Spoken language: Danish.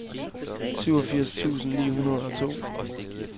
syvogfirs tusind ni hundrede og to